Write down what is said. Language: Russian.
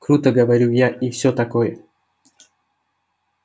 круто говорю я и всё такое